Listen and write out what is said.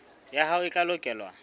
ya hao e tla lekolwa